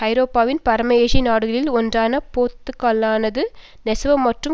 ஐரோப்பாவின் பரம ஏழை நாடுகளில் ஒன்றான போத்துக்கலானது நெசவு மற்றும்